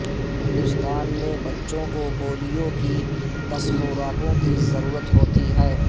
ہندوستان میں بچوں کو پولیو کی دس خوراکوں کی ضرورت ہوتی ہے